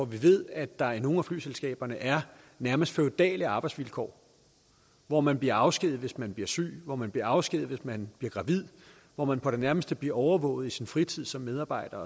vi ved at der i nogle af golfstaternes flyselskaber er nærmest feudale arbejdsvilkår hvor man bliver afskediget hvis man bliver syg hvor man bliver afskediget hvis man bliver gravid hvor man på det nærmeste bliver overvåget i sin fritid som medarbejder